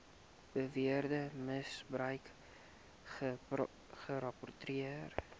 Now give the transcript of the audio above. beweerde misbruik gerapporteer